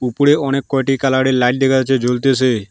উপরে অনেককয়টি কালারের লাইট দেখা যাচ্ছে জ্বলতেসে।